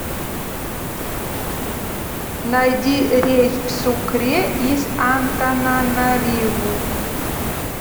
найди рейс в сукре из антананариву